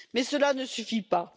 Mais cela ne suffit pas.